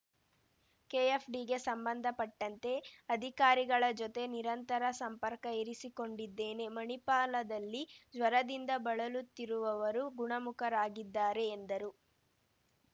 ಕೆಎಫ್‌ಡಿಗೆ ಸಂಬಂಧಪಟ್ಟಂತೆ ಅಧಿಕಾರಿಗಳ ಜೊತೆ ನಿರಂತರ ಸಂಪರ್ಕ ಇರಿಸಿಕೊಂಡಿದ್ದೇನೆ ಮಣಿಪಾಲದಲ್ಲಿ ಜ್ವರದಿಂದ ಬಳಲುತ್ತಿರುವವರು ಗುಣಮುಖರಾಗಿದ್ದಾರೆ ಎಂದರು